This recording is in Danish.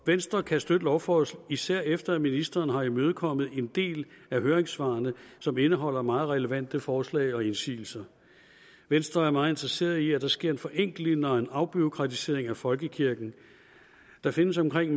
venstre kan støtte lovforslaget især efter at ministeren har imødekommet en del af høringssvarene som indeholder meget relevante forslag og indsigelser venstre er meget interesseret i at der sker en forenkling og en afbureaukratisering af folkekirken der findes omkring